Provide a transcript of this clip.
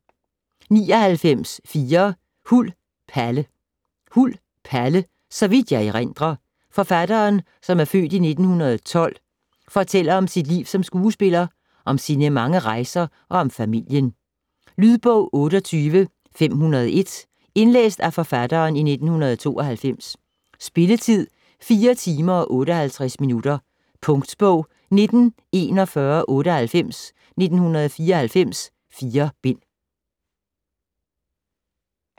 99.4 Huld, Palle Huld, Palle: "Så vidt jeg erindrer" Forfatteren (f. 1912) fortæller om sit liv som skuespiller, om sine mange rejser og om familien. Lydbog 28501 Indlæst af Forfatteren, 1992. Spilletid: 4 timer, 58 minutter. Punktbog 194198 1994. 4 bind.